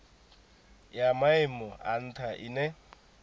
ya maimo a ntha ine